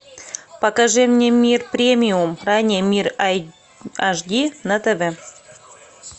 покажи мне мир премиум ранее мир аш ди на тв